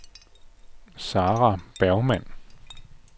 Sarah Bergmann